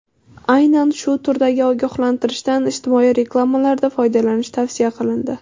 Aynan shu turdagi ogohlantirishdan ijtimoiy reklamalarda foydalanish tavsiya qilindi.